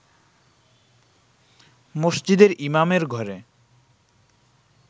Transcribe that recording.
মসজিদের ইমামের ঘরে